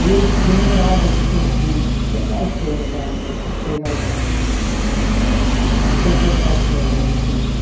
Aí eu demorava de con de pegar a história da, pegar a ca, interpretar a história né, o texto.